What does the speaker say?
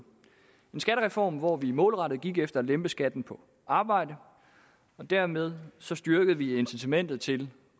skattereform hvor vi målrettet gik efter at lempe skatten på arbejde og dermed styrke incitamentet til